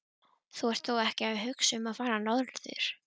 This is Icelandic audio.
Þú ert þó ekki að hugsa um að fara norður?